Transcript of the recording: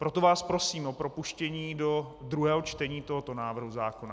Proto vás prosím o propuštění do druhého čtení tohoto návrhu zákona.